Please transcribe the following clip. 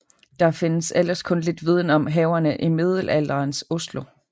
Der findes ellers kun lidt viden om haverne i middelalderens Oslo